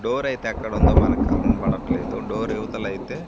డోరైతే ఎక్కడుందో మనకు కనబడట్లేదు డోర్ ఇవతలైతే--